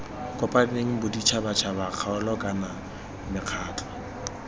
kopaneng boditšhabatšhaba kgaolo kana mekgatlho